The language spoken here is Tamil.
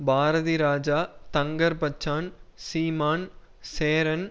பாரதிராஜா தங்கர்பச்சான் சீமான் சேரன்